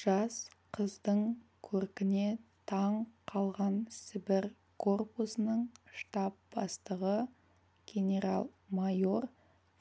жас қыздың көркіне таң қалған сібір корпусының штаб бастығы генерал-майор